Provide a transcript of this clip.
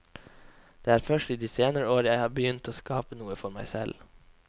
Det er først i de senere år at jeg har begynt å skape noe for meg selv.